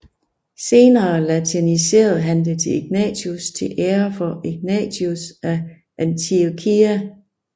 Senere latiniserede han det til Ignatius til ære for Ignatius af Antiokia